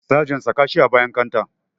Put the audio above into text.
Sagen saka shi a bayan kanta